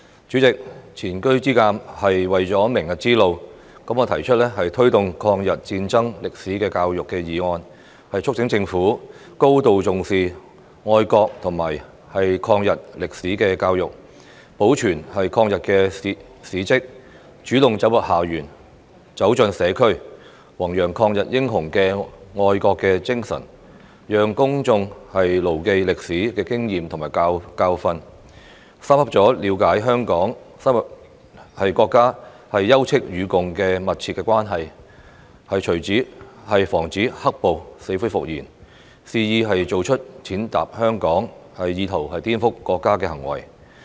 主席，前車之鑒是為了明日之路，我提出"推動抗日戰爭歷史的教育"議案，促請政府高度重視愛國和抗日歷史的教育，保存抗日的事蹟，主動走進校園、走進社區，宏揚抗日英雄的愛國精神，讓公眾牢記歷史的經驗和教訓，深刻了解香港與國家休戚與共的密切關係，以防止"黑暴"死灰復燃，肆意做出踐踏香港、意圖顛覆國家的行為。